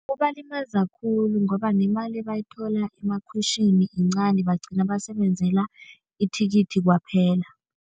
Kubalimaza khulu ngoba nemali ebayithola emakhwitjhini yincani bagcina basebenzela ithikithi kwaphela.